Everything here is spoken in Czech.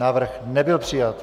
Návrh nebyl přijat.